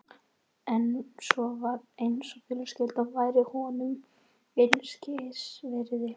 En svo var eins og fjölskyldan væri honum einskis virði.